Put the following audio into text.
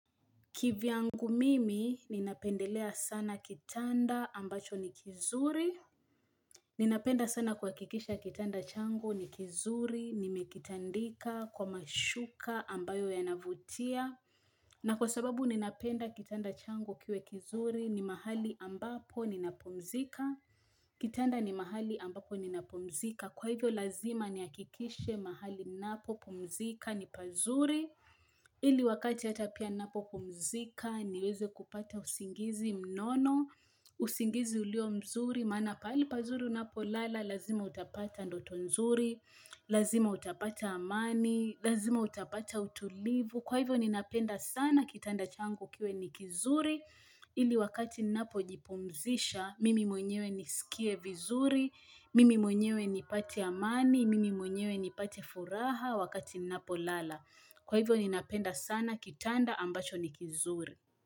Kivyangu mimi, ninapendelea sana kitanda ambacho ni kizuri. Ninapenda sana kuhakikisha kitanda changu ni kizuri, nimekitandika, kwa mashuka ambayo yanavutia. Na kwa sababu ninapenda kitanda changu kiwe kizuri ni mahali ambapo ninapumzika. Kitanda ni mahali ambapo ninapumzika. Kwa hivyo lazima ni hakikishe mahali napopumzika ni pazuri. Ili wakati hata pia napopumzika, niweze kupata usingizi mnono, usingizi ulio mzuri maana pali pazuri unapolala, lazima utapata ndoto nzuri, lazima utapata amani, lazima utapata utulivu Kwa hivyo ninapenda sana, kitanda changu kiwe ni kizuri ili wakati napojipumzisha, mimi mwenyewe nisikie vizuri, mimi mwenyewe nipate amani, mimi mwenyewe nipate furaha wakati napolala Kwa hivyo ninapenda sana kitanda ambacho ni kizuri.